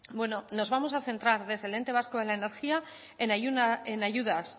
bueno nos vamos a centrar desde el ente vasco en la energía en ayudas